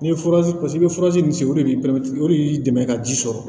N'i ye furazi i bɛ furaji min sigi o de b'i o de y'i dɛmɛ ka ji sɔrɔ